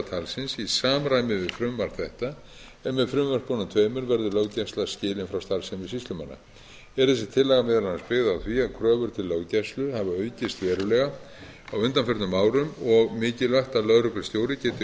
í samræmi við frumvarp þetta en með frumvörpunum tveimur verður löggæsla skilin frá starfsemi sýslumanna er þessi tillaga meðal annars byggð á því að kröfur til löggæslu hafa aukist verulega á undanförnum árum á mikilvægt að lögreglustjóri geti óskiptur